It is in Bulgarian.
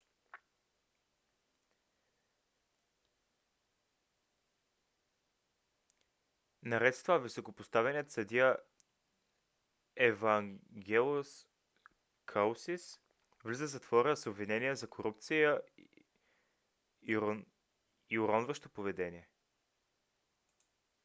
наред с това високопоставеният съдия евангелос калусис влиза в затвора с обвинения за корупция и уронващо поведение